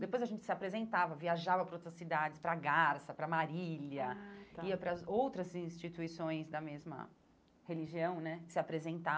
Depois a gente se apresentava, viajava para outras cidades, para Garça, para Marília, ah tá ia para as outras instituições da mesma religião, né, se apresentar.